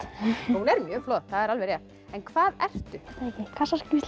hún er mjög flott það er alveg rétt en hvað ertu